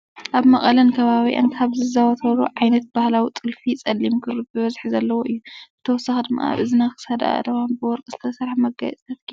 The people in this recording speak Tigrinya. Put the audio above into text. ኣብ መቐለን ከባቢኣን ካብ ዝዝውተሩ ዓይነታት ባህላዊ ጥልፊ ፀሊም ክሪ ብበዝሒ ዘለዎ እዩ። ብተወሳኪ ድማ ኣብ እዝና፣ ክሳዳ፣ ኣእዳን ብወርቂ ዝተሰርሓ መጋየፅታት ገይራ ኣላ።